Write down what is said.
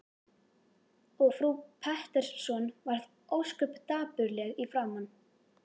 Og frú Pettersson varð ósköp dapurleg í framan.